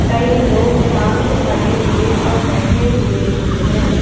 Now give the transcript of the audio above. कई लोग शांत खड़े हुए और बैठे हुए भी हैं।